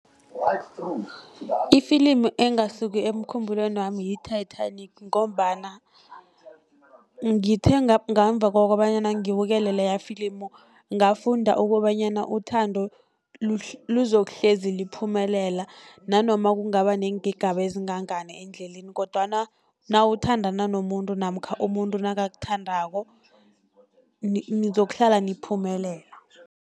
Ifilimu engasuki emkhumbulweni wami yi-Titanic, ngombana ngithe ngemuva kokobanyana ngibukele leyafilimu ngafunda kobanyana, uthando luzokuhlezi liphumelela nanoma kungaba neengigaba ezingangani endleleni. Kodwana nawuthandana nomuntu namkha umuntu nakakuthandako nizokuhlala niphumelela.